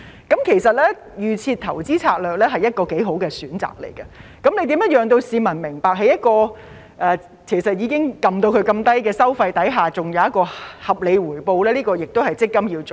因此，預設投資策略便是一個不錯的選擇，如何讓市民明白到在一個已經調至相當低的收費下仍然會有合理回報，這也是積金局要做的。